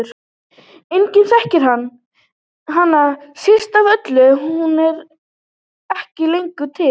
Enginn þekkir hana, síst af öllum hún sem er ekki lengur til.